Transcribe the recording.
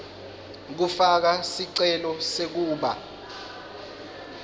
kufaka sicelo sekuba